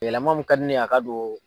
Yɛlɛma min ka di ne ye a ka don